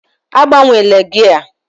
Agbanwela gia!